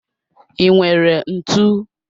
I nwere ntụ?